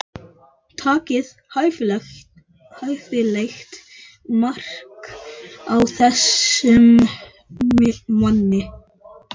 Takið hæfilegt mark á þessum manni.